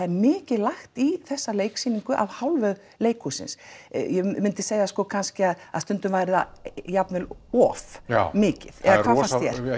er mikið lagt í þessa leiksýningu af hálfu leikhússins ég myndi segja kannski að að stundum væri það jafnvel um of já mikið eða hvað finnst þér